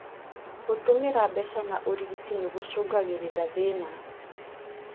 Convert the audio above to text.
Gũtũmĩra mbeca na ũrigiti nĩgũcũngagĩrĩria thĩna